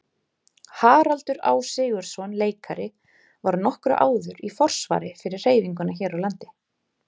Haraldur Á. Sigurðsson leikari var nokkru áður í forsvari fyrir hreyfinguna hér á landi.